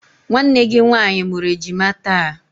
Nwanne gị nwaanyị mụrụ ejima taa.